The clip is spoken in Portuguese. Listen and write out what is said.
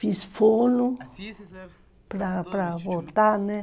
Fiz fono para para voltar, né?